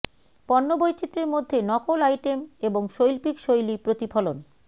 পণ্য বৈচিত্র্যের মধ্যে নকল আইটেম এবং শৈল্পিক শৈলী প্রতিফলন